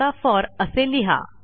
आता फोर असे लिहा